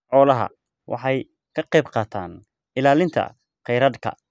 Xooluhu waxay ka qaybqaataan ilaalinta kheyraadka.